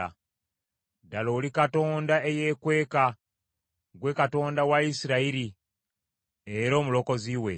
Ddala oli Katonda eyeekweka, ggwe Katonda wa Isirayiri era Omulokozi we.